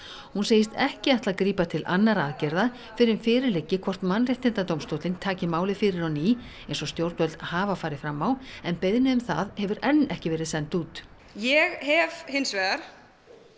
hún segist ekki ætla að grípa til annarra aðgerða fyrr en fyrir liggi hvort Mannréttindadómstóllinn taki málið fyrir á ný eins og stjórnvöld hafa farið fram á en beiðni um það hefur enn ekki verið send út ég hef hins vegar